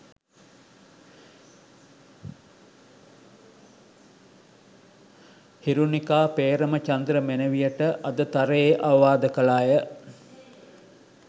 හිරුණිකා පේ්‍රමචන්ද්‍ර මෙනවියට අදතරයේ අවවාද කළාය